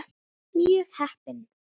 Mjög heppin.